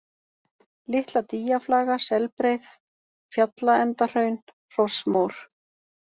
Litla-Dýjaflaga, Selbreið, Fjallaendahraun, Hrossmór